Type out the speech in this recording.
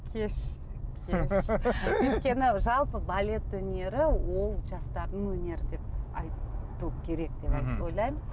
кеш өйткені жалпы балет өнері ол жастардың өнері деп айту керек деп ойлаймын